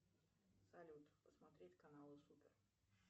салют посмотреть каналы супер